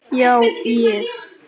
Já ég.